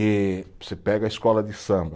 E você pega a escola de samba.